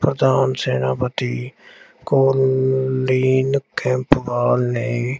ਪ੍ਰਧਾਨ ਸੈਨਾਪਤੀ ਦੀ ਕੋਲੀਂਨ ਖੈਪਵਾਲ ਨੇ